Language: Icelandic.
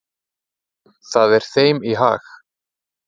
Það er þeim í hag.